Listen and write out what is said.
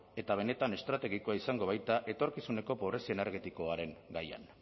eta benetan estrategikoa izango baita etorkizuneko pobrezia energetikoaren gaian